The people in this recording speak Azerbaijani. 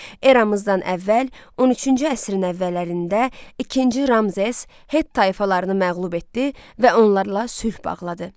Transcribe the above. Eramızdan əvvəl 13-cü əsrin əvvəllərində ikinci Ramzes het tayfalarını məğlub etdi və onlarla sülh bağladı.